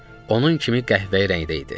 Onun kimi qəhvəyi rəngdə idi.